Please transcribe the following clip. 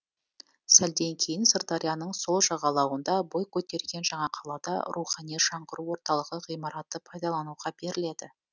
сәлден кейін сырдарияның сол жағалауында бой көтерген жаңа қалада рухани жаңғыру орталығы ғимараты пайдалануға беріледі